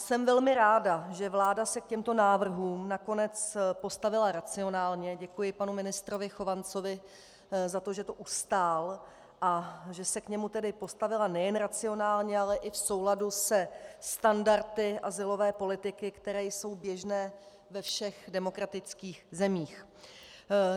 Jsem velmi ráda, že vláda se k těmto návrhům nakonec postavila racionálně, děkuji panu ministrovi Chovancovi za to, že to ustál, a že se k němu tedy postavila nejen racionálně, ale i v souladu se standardy azylové politiky, které jsou běžné ve všech demokratických zemích.